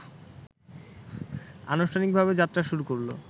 আনুষ্ঠানিকভাবে যাত্রা শুরু করলো